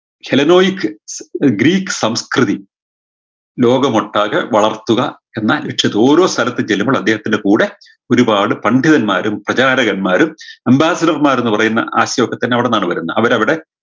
healenoix Greek സംസ്‌കൃതി ലോകമൊട്ടാകെ വളർത്തുക എന്ന ലക്ഷ്യത്തോ ഓരോ സ്ഥലത്ത് ചെല്ലുമ്പോൾ അദ്ദേഹത്തിൻറെ കൂടെ ഒരുപാട് പണ്ഡിതന്മാരും പ്രചാരകന്മാരും ambasider മാരുംന്ന് പറയുന്ന ആശയൊക്കെ തന്നെ അവിടന്നാണ് വരുന്നത് അവരവിടെ